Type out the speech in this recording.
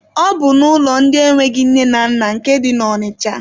Ọ bụ n'ụlọ ndị enweghị nne na nna nke dị na Ọnịcha.